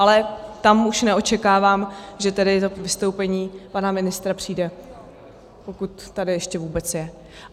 Ale tam už neočekávám, že tedy to vystoupení pana ministra přijde, pokud tady ještě vůbec je.